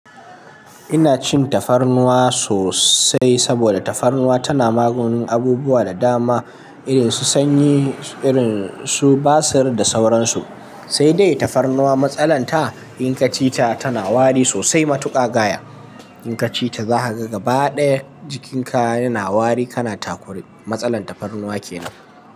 Ina cin tafarnuwa sosai saboda tafarnuwa tana maganin abubuwa da dama irin su sanyi, irin su basir da sauransu. Sai dai tafarnuwa matsalar ta in ka ci ta tana wari sosai matuƙa gaya. In ka ci ta za ka ga gaba ɗaya jikinka yana wari, kana takure. Matsalar tafarnuwa ke nan.